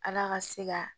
Ala ka se ka